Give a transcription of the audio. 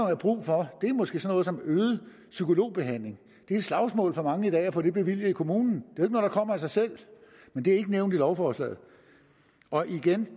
er brug for er måske sådan noget som øget psykologbehandling det er et slagsmål for mange i dag at få det bevilget i kommunen det er noget der kommer af sig selv men det er ikke nævnt i lovforslaget og igen